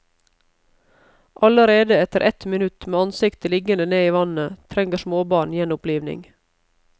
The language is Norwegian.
Allerede etter ett minutt med ansiktet liggende ned i vannet trenger småbarn gjenopplivning.